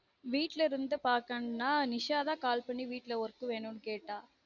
வீட்ல இருந்து பார்க்கனும்னா நிஷா call பண்ணி வீட்ல work வேனும்னு கேட்டா